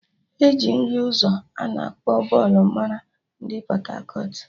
E ji nri ụzọ ana akpọ Bole mara ndị Pọt-akọt